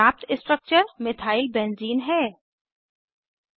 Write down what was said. प्राप्त structure methyl benzene methyl benzene है